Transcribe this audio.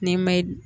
N'i ma